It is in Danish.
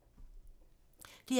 DR P3